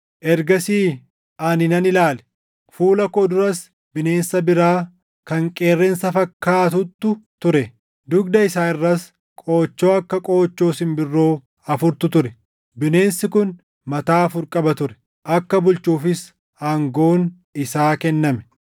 “Ergasii ani nan ilaale; fuula koo duras bineensa biraa kan qeerransa fakkaatuttu ture. Dugda isaa irras qoochoo akka qoochoo simbirroo afurtu ture. Bineensi kun mataa afur qaba ture; akka bulchuufis aangoon isaa kenname.